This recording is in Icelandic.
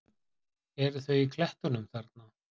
Eru þau í klettunum þarna?